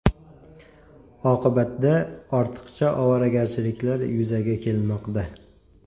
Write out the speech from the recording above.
Oqibatda ortiqcha ovoragarchiliklar yuzaga kelmoqda.